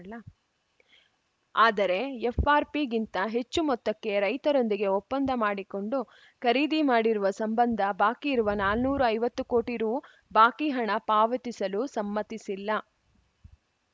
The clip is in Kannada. ಆದರೆ ಎಫ್‌ಆರ್‌ಪಿಗಿಂತ ಹೆಚ್ಚು ಮೊತ್ತಕ್ಕೆ ರೈತರೊಂದಿಗೆ ಒಪ್ಪಂದ ಮಾಡಿಕೊಂಡು ಖರೀದಿ ಮಾಡಿರುವ ಸಂಬಂಧ ಬಾಕಿ ಇರುವ ನಾಲ್ನೂರ ಐವತ್ತು ಕೋಟಿ ರು ಬಾಕಿ ಹಣ ಪಾವತಿಸಲು ಸಮ್ಮತಿಸಿಲ್ಲ